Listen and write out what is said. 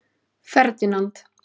Ferdinand